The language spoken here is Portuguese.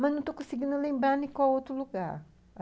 Mas não estou conseguindo lembrar nem qual outro lugar.